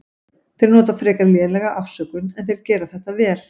Þeir nota frekar lélega afsökun en þeir gera þetta vel.